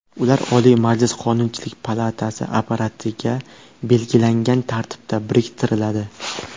Ular Oliy Majlis Qonunchilik palatasi apparatiga belgilangan tartibda biriktiriladi.